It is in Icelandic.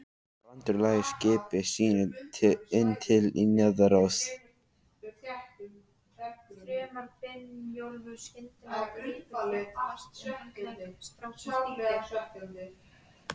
Brandur lagði skipi sínu inn til Niðaróss.